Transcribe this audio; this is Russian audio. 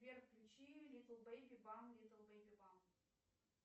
сбер включи литл бэйби бам литл бэйби бам